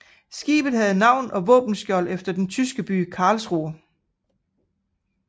Skibet havde navn og våbenskjold efter den tyske by Karlsruhe